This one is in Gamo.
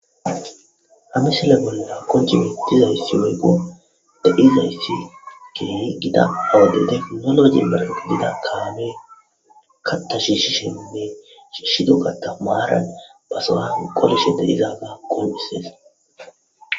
Ha misile bolla qonc'i bettizaysi woyikko de'izaysi kehi gadde giddon dizza gitta kame kaththa shishshininne shishshiddo kaththa maran ba sohuwan qolishshen dizayisa qonc'sses.